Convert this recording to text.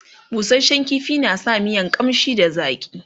busashen ƙifi na sa miya ƙamshi da zaƙi